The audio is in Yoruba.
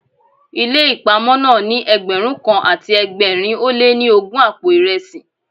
Ilé ìpamọ́ náà ní Ẹgbẹ̀rún kan àti ẹgbẹ̀rin ó lé ní ogún àpò ìresí.